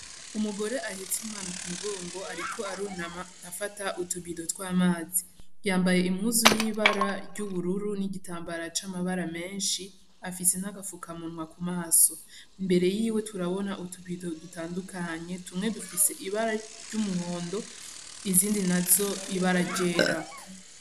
Umugore ahetse umwana ku mugongo, ariko arunama afata utubido tw'amazi. Yambaye impuzu y'ibara ry'ubururu n'igitambara c'amabara menshi; afise n'agafukamunwa ku maso. Imbere yiwe turabona utu bido dutandukanye. Tumwe dufise ibara ry'umuhondo, izindi nazo ibara ryera.